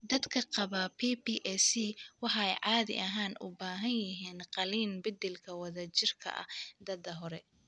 Dadka qaba PPAC waxay caadi ahaan u baahan yihiin qalliin beddelka wadajirka ah da'da hore.